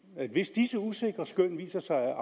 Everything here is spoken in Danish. at hvis disse usikre skøn viser sig at